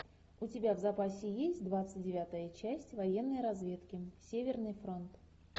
у тебя в запасе есть двадцать девятая часть военной разведки северный фронт